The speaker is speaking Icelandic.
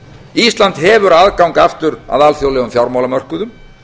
ísland hefur aðgang aftur að alþjóðlegum fjármálamörkuðum